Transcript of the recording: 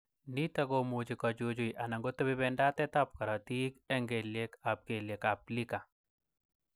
Nitok komuchi kuchuchui ana kotebi pendetatete ab karotik eng kelyek ab keliek ab lika.